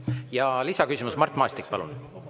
Ja lisaküsimus, Mart Maastik, palun!